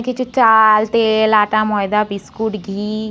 কিছু চা-আ-ল তে-এ-ল আটা ময়দা বিস্কুট ঘি--